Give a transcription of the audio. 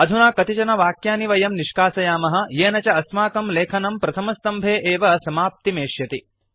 अधुना कतिचन वाक्यानि वयं निष्कासयामः येन च अस्माकं लेखनं प्रथमसम्भे एव समाप्तिमेष्यति